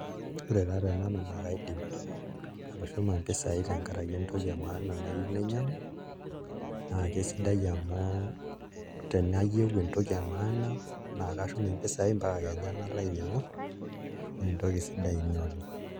Ore taa tenanu naa kaidim atushuma mpisai tenkaraki entoki emaana nayieu nainyiag'u naa kesidai amu tenayieu entoki emaana naa kashum mpisaai mpaka kenya nalo ainyiang'u naa entoki sidai ina oleng'.